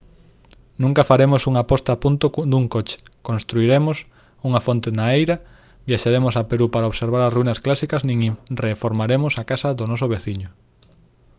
nunca faremos unha posta a punto dun coche construiremos unha fonte na eira viaxaremos a perú para observar as ruínas clásicas nin reformaremos a casa do noso veciño